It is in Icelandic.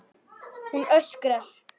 Hún öskrar.